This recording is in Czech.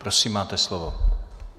Prosím, máte slovo.